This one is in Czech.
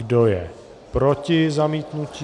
Kdo je proti zamítnutí?